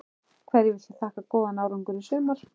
Hverju viltu þakka góðan árangur í sumar?